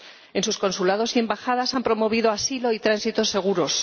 En sus consulados y embajadas han promovido asilo y tránsito seguros.